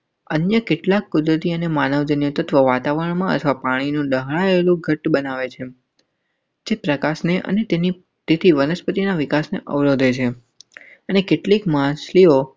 અન્ય કેટલાક કુદરતી અને માનવ નિર્મિત વાતાવરણમાં ચા પાણી નોંધાયેલું ઘટ બનાવે છે. પ્રકાશને અને તેની સ્થિતિ વનસ્પતિના વિકાસને અવરોધે છે અને કેટલીક માછલીઓ.